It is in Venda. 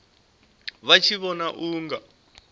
vha tshi vhona u nga